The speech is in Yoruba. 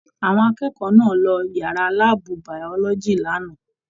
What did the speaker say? Àwọn akẹ́kọ̀ọ́ náà ló yàrá láàbù biology l'ana.